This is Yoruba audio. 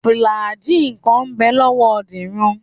Fùlàgíì kan ń bẹ lọ́wọ́ Dìran